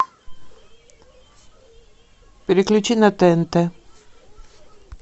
переключи на тнт